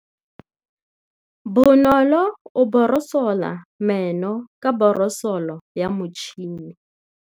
Bonolô o borosola meno ka borosolo ya motšhine.